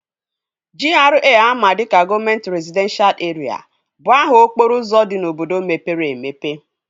GRA ama dịka gọvamet rezidenshal erịa bụ aha okporo ụzọ dị n'obodo mepere emepe